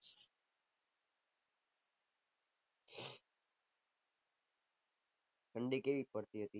ઠંડી કેવી પડતી હતી